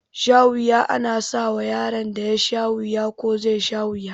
Shawuya ana sawa yaron da yasha wuya ko zai sha wuya